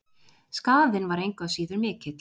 Skaðinn var engu að síður mikill.